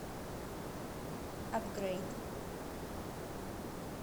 апгрейд